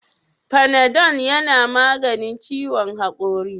Panadol yana maganin ciwon hakori?